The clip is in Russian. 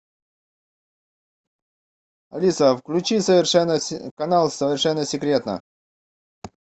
алиса включи канал совершенно секретно